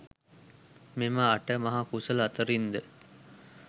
මෙම අට මහ කුසල අතුරින් ද,